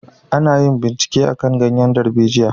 A na yin bincike akan ganyen darbejiya